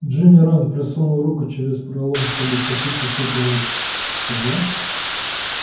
джинни рон просунул руку через пролом чтобы втащить сестру первой ты жива